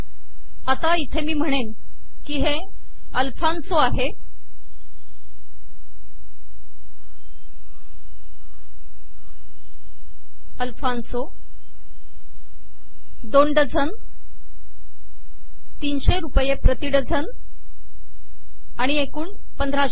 आता इथे मी म्हणेन की हे अल्फॉन्सो आहे दोन डझन तिनशे रुपये प्रति डझन आणि एकूण 1500